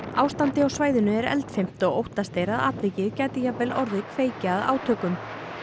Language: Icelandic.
ástandið á svæðinu er eldfimt og óttast er að atvikið gæti jafnvel orðið kveikja að átökum